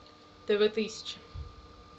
тв тысяча